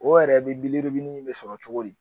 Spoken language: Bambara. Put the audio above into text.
O yɛrɛ be wili be sɔrɔ cogo di